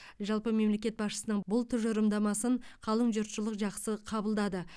жалпы мемлекет басшысының бұл тұжырымдамасын қалың жұртшылық жақсы қабылдады